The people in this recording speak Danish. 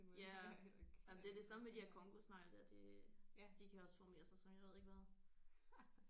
Ja nej men det er det samme med de der congosnegle der det de kan også formere sig som jeg ved ikke hvad